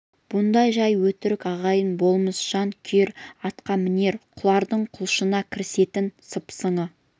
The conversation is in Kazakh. бұндай жай өтірік ағайын болмыс жан күйер атқамінер қулардың құлшына кірісетін сыпсыңы